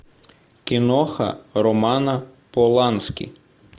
киноха романа полански